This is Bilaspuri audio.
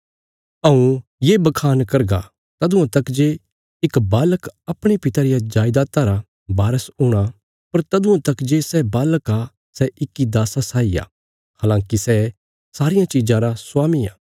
हऊँ ये बखान करगा तदुआं तक जे इक बालक अपणे पिता रिया जायदाता रा वारस हूणा पर तदुआं तक जे सै बालक आ सै इक्की दास्सा साई आ हलाँकि सै सारियां चीजां रा स्वामी आ